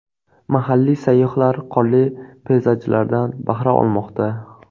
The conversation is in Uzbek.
Mahalliy sayyohlar qorli peyzajlardan bahra olmoqda .